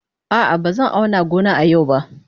A'a, ba zan auna gona a yau ba.